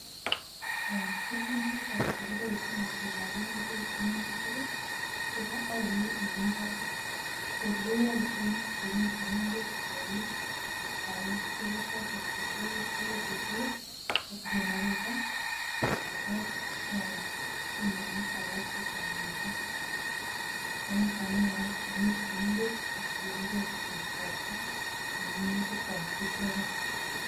En tuguk choto che kiboishen kinogo beek minutik ii kobo olyet nemi barak, koyoe en temik chemengech kouit koal tuguchoto chetou: baibushek, ak generator, ak chumoinik alak che chang mising. Ko niton neyoe temik che mengech kotienge kityo ropta en minutikwak ichegen.